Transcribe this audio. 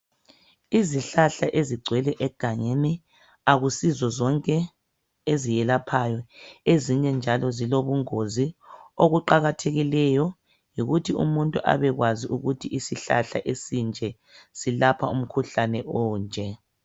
Izihlahla ezigcwele egangeni akusizo zonke ezelaphayo. Ezinye njalo zilobungozi okuqakathekileyo yikuthi umuntu abekwazi ukuthi isihlahla esinje silapha umkhuhlane onje.